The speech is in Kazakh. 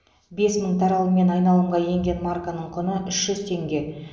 бес мың таралыммен айналымға енген марканың құны үш жүз теңге